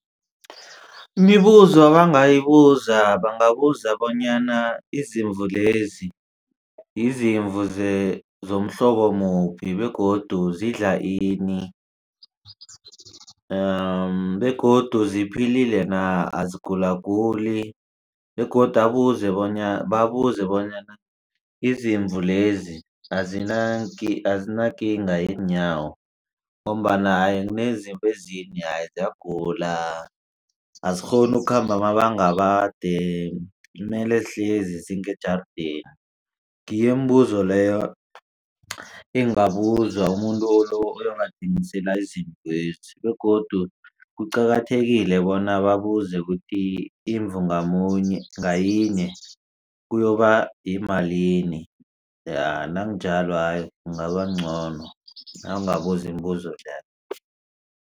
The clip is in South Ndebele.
Imibuzo abangayibuza bangabuza bonyana izimvu lezi yizimvu zomhlobo muphi begodu zidla ini begodu ziphilile na azigulaguli begodu babuze bonyana izimvu lezi azinakinga yeenyawo ngombana kunezimvu ezinenye ziyagula azikghoni ukukhamba amabanga amade mele zihlezi zingejardeni. Ngiyo imibuzo leyo engabuzwa umuntu lo oyobathengisela iziimvezi begodu kuqakathekile bona babuze kuthi imvu ngayinye kuyoba yimalini nakunjalo kungaba ngcono nakungabuzwa imibuzo leyo.